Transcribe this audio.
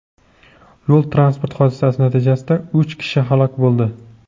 Yo‘l-transport hodisasi natijasida uch kishi halok bo‘ldi.